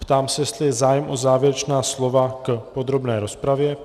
Ptám se, jestli je zájem o závěrečná slova k podrobné rozpravě.